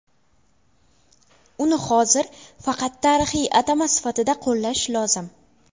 Uni hozir faqat tarixiy atama sifatida qo‘llash lozim.